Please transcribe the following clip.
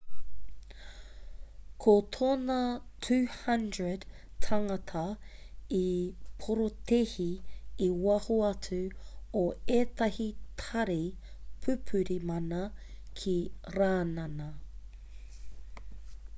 ko tōna 200 tāngata i porotēhi i waho atu o ētahi tari pupuri mana ki rānana